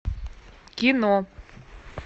кино